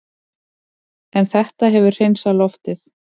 En þetta hefur hreinsað loftið